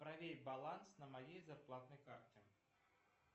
проверь баланс на моей зарплатной карте